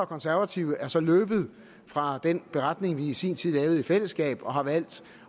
konservative er så løbet fra den beretning vi i sin tid lavede i fællesskab og har valgt